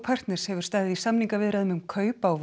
partners hefur staðið í samningaviðræðum um kaup á